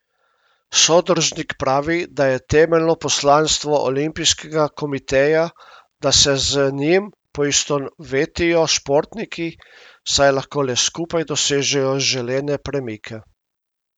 Sodržnik pravi, da je temeljno poslanstvo olimpijskega komiteja, da se z njim poistovetijo športniki, saj lahko le skupaj dosežejo želene premike.